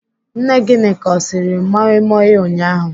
Nne Gịnịka ọ siri moi moi ụnyaahụ?